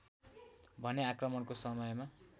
भने आक्रमणको समयमा